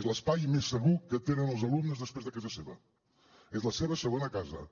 és l’espai més segur que tenen els alumnes després de casa seva és la seva segona casa